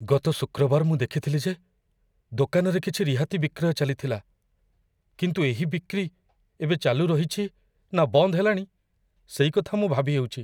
ଗତ ଶୁକ୍ରବାର ମୁଁ ଦେଖିଥିଲି ଯେ ଦୋକାନରେ କିଛି ରିହାତି ବିକ୍ରୟ ଚାଲିଥିଲା। କିନ୍ତୁ ଏହି ବିକ୍ରି ଏବେ ଚାଲୁ ରହିଛି, ନା ବନ୍ଦ ହେଲାଣି, ସେଇ କଥା ମୁଁ ଭାବିହେଉଚି।